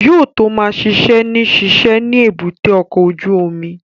Yóò tó ma ṣiṣẹ́ ní ṣíṣe ni èbúté ọkọ̀ ojú omi